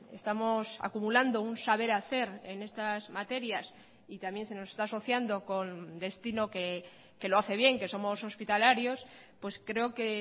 estamos acumulando un saber hacer en estas materias y también se nos está asociando con destino que lo hace bien que somos hospitalarios pues creo que